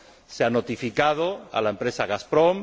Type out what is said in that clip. Se ha notificado a la empresa Gazprom